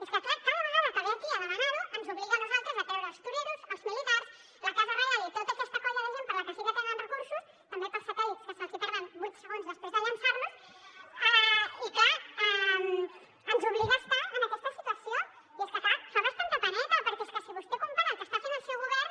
és que clar cada vegada que ve aquí a demanar ho ens obliga a nosaltres a treure els toreros els militars la casa reial i tota aquesta colla de gent per a la que sí que tenen recursos també per als satèl·lits que se’ls hi perden vuit segons després de llançar los i clar ens obliga a estar en aquesta situació i és que clar fa bastanta peneta perquè és que si vostè compara el que està fent el seu govern